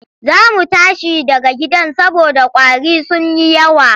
Za mu tashi daga gidan saboda ƙwari sun yi yawa.